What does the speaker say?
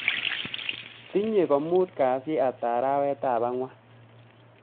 Tinye ko muut kasi hata arawetab angwan